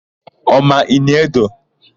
Ọ ma Ini Edo?